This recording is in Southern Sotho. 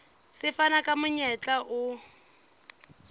se fana ka monyetla o